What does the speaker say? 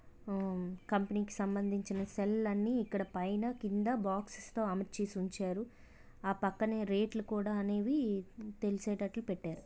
ఆ కంపెనీ కి సంబంధించిన సెల్ అన్నీ ఇక్కడ పైన కింద బాక్స్ తో అమర్చిసి ఉంచారు. ఆ పక్కన రేట్ లు కూడా అనేవి తెలిసేటట్టు పెట్టారు.